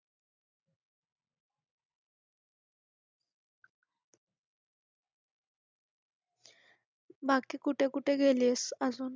बाकी कुठे कुठे गेलीस अजून?